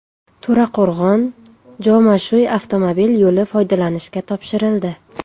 To‘raqo‘rg‘on – Jomashuy avtomobil yo‘li foydalanishga topshirildi.